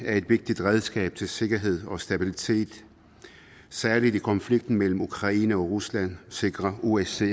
er et vigtigt redskab til sikkerhed og stabilitet særlig i konflikten mellem ukraine og rusland sikrer osce